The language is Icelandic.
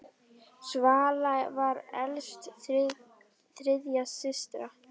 Svala var elst þriggja systra.